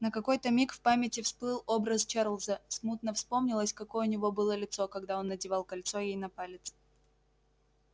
на какой-то миг в памяти всплыл образ чарлза смутно вспомнилось какое у него было лицо когда он надевал кольцо ей на палец